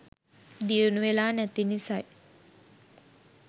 දියුණුවෙලා නැති නිසයි.